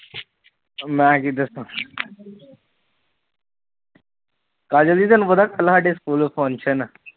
ਮੈ ਕੀ ਦਸਾ ਕਾਜਲ ਜੀ ਤੂਹਾਨੂੰ ਕੱਲ ਸਾਡੇ ਸਕੂਲ ਫੰਕਸ਼ਨ ਆ